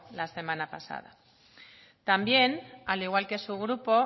la semana pasada también al igual que su grupo